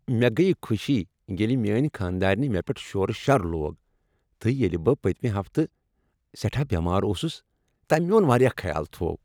مےٚ گٔیہ خوشی ییٚلہِ میٛانہِ خانٛدارنہِ مےٚ پیٚٹھ شورٕ شَر لوگ تہٕ ییلہِ بہٕ پٔتۍمہِ ہفتہٕ سیٹھاہ بیمار اوسُس تٔمۍ میون واریاہ خیال تھوو۔